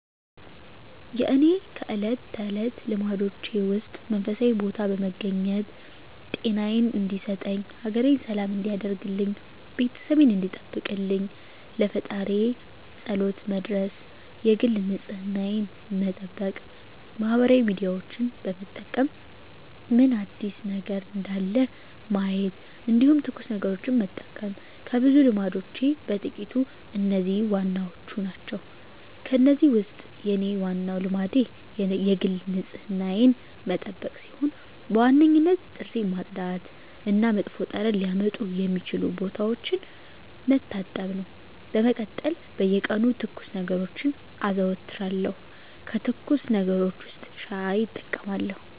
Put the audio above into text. የእኔ ከእለት ተለት ልማዶቼ ውስጥ መንፈሳዊ ቦታ በመገኘት ጤናየን እንዲሰጠኝ፣ ሀገሬን ሰላም እንዲያደርግልኝ፣ ቤተሰቤን እንዲጠብቅልኝ ለፈጣሪየ ፀሎት መድረስ የግል ንፅህናየን መጠበቅ ማህበራዊ ሚዲያዎችን በመጠቀም ምን አዲስ ነገር እንዳለ ማየት እንዲሁም ትኩስ ነገሮችን መጠቀም ከብዙ ልማዶቼ በጥቂቱ እነዚህ ዋናዎቹ ናቸው። ከእነዚህ ውስጥ የኔ ዋናው ልማዴ የግል ንፅህናዬን መጠበቅ ሲሆን በዋነኝነት ጥርሴን ማፅዳት እና መጥፎ ጠረን ሊያመጡ የሚችሉ ቦታዎችን መታጠብ ነው። በመቀጠል በየቀኑ ትኩስ ነገሮችን አዘወትራለሁ ከትኩስ ነገሮች ውስጥ ሻይ እጠቀማለሁ።